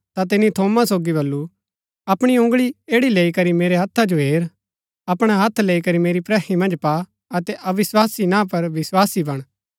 ता तिनी थोमा सोगी बल्लू अपणी उँगळी ऐड़ी लैई करी मेरा हत्था जो हेर अपणा हत्थ लैई करी मेरी प्रहि मन्ज पा अतै अविस्वासी ना पर विस्वासी बण